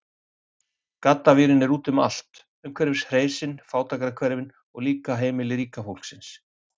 Gaddavírinn er úti um allt, umhverfis hreysin, fátækrahverfin, og líka heimili ríka fólksins.